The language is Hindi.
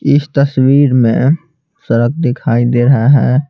इस तस्वीर में सड़क दिखाई दे रहा है।